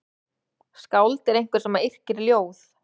Skáld er einhver sem yrkir ljóð.